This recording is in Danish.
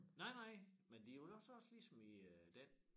Nej nej men det jo nok også ligesom i øh den